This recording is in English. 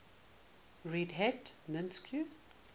red hat linux